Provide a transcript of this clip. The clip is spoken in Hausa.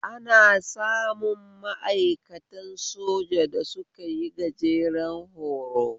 Ana samun ma'aikatan soja da sukayi gajeren horo